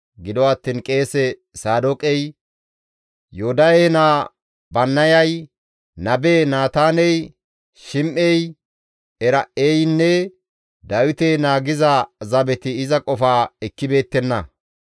Gido attiin qeese Saadooqey, Yoodahe naa Bannayay, nabe Naataaney, Shim7ey, Era7eynne Dawite naagiza zabeti iza qofaa ekkibeettenna.